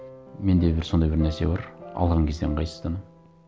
менде бір сондай бір нәрсе бар алған кезде ыңғайсызданамын